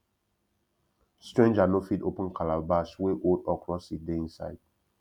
stranger no fit open calabash wey old okra seed dey inside